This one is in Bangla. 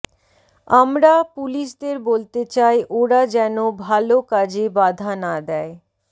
আমরা পুলিশ দের বলতে চাই ওরা জেনো ভাল কাজে বাধা না দেয়